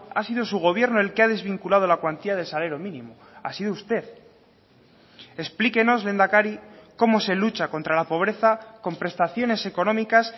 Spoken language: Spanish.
ha sido su gobierno el que ha desvinculado la cuantía del salario mínimo ha sido usted explíquenos lehendakari cómo se lucha contra la pobreza con prestaciones económicas